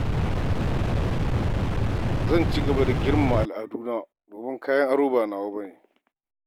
Zan ci gaba da rungume al'aduna, domin kayan aro ba nawa ba ne.